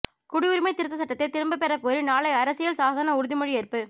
குடியுரிமை திருத்தச் சட்டத்தை திரும்பப் பெறக் கோரி நாளை அரசியல் சாசன உறுதிமொழியேற்பு